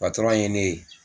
Patɔrɔn ye ne ye.